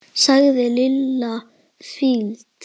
sagði Lilla fýld.